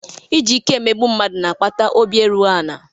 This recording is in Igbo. Iji ike emegbu mmadụ na-akpata obi erughị ala.